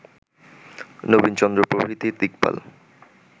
নবীনচন্দ্র প্রভৃতি দিকপাল